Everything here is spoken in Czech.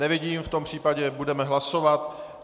Nevidím, v tom případě budeme hlasovat.